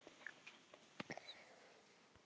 Ávallt pláss fyrir alla.